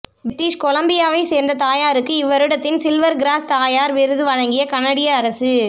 British கொலம்பியாவை சேர்ந்த தாயாருக்கு இவ் வருடத்தின் சில்வர் கிராஸ் தாயார் விருது வழங்கிய கனடிய அரசு